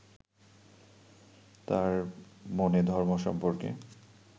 তাঁর মনে ধর্ম সম্পর্কে